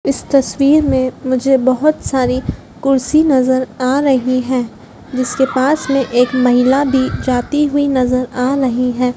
इस तस्वीर में मुझे बहोत सारी कुर्सी नजर आ रही हैं जिसके पास में एक महिला भी जाती हुई नजर आ रही हैं।